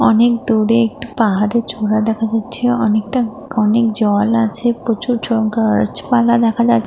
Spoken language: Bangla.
অনেক দূরে একটু পাহাড়ের চূড়া দেখা যাচ্ছে। অনেকটা অনেক জল আছে। প্রচুর জ গাছপালা দেখা যা--